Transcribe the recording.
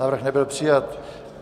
Návrh nebyl přijat.